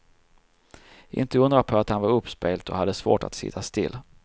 Inte undra på att han var uppspelt och hade svårt att sitta still.